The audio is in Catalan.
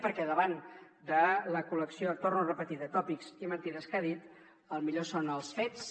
perquè davant de la col·lecció ho torno a repetir de tòpics i mentides que ha dit el millor són els fets